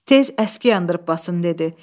Tez əski yandırıb basın dedi.